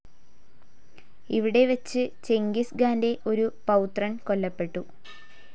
ഇവിടെ വച്ച് ചെങ്കിസ് ഖാന്റെ ഒരു പൌത്രൻ കൊല്ലപ്പെട്ടു.